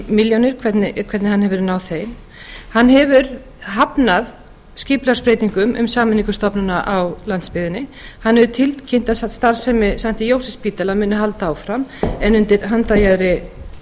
milljónir hvernig hann hefur náð þeim hann hefur hafnað skipulagsbreytingum og sameiningu stofnana á landsbyggðinni hann hefur tilkynnt að starfsemi st jósefsspítala muni halda áfram en undir handarjaðri